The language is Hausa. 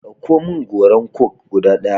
Ɗauko min goran coke guda ɗaya!